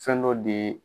Fɛn dɔ de